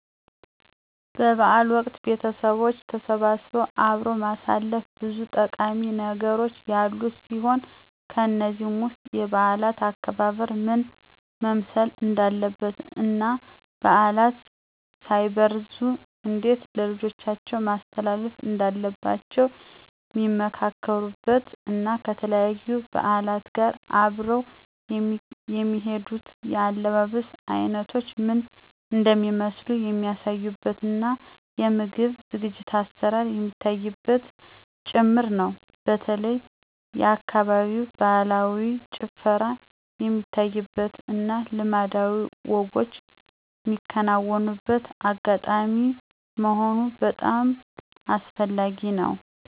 በ በዓል ወቅት ቤተቦች ተሰባስበው አብሮ ማሳለፍ ብዙ ጠቃሚ ነገሮች ያሉት ሲሆን ከነዚህም ውስጥ የበዓላት አከባበር ምን መምሰል እንዳለበት እና ባዕላት ሳይበረዙ እንዴት ለልጆቻቸው ማስተላለፍ እንዳለባቸዉ ሚመካከሩበት እና ከተለያዩ በዓላት ጋር አብረው የሚሄዱት የአለባበስ አይነቶች ምን እንደሚመስሉ የሚያሳዩበት እና የምግብ ዝግጅት(አሰራር) የሚታይበትም ጭምር ነው። በተለይ የአካባቢው ባህላዊ ጭፈራ የሚታይበት እና ልማዳዊ ወጎች ሚከናወንበት አጋጣሚ መሆኑ በጣም አስፈላጊ ነው።